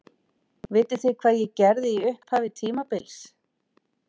Vitið þið hvað ég gerði í upphafi tímabils?